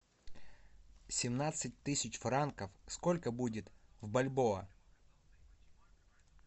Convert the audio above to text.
семнадцать тысяч франков сколько будет в бальбоа